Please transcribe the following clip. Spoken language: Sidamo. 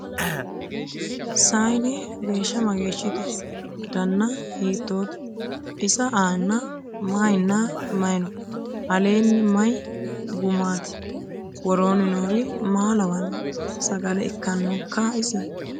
Saayiinne geesha mageeshshitte? danna hiittotte? Isa aanna mayiinna mayi noo? Aleenni mayi gumaatti? Woroonni noori maa lawanno? sagale ikaanokka isi?